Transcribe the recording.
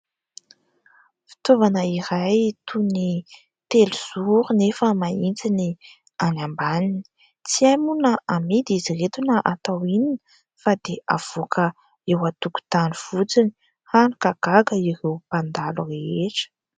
Fitaovana iray toy ny telozoro nefa mahitsy ny any ambaniny. Tsy hay moa na amidy izy ireto na atao inona, fa dia avoaka eo an-tokontany fotsiny, hany ka gaga ireo mpandalo rehetra.